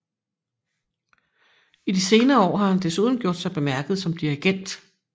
I de senere år har han desuden gjort sig bemærket som dirigent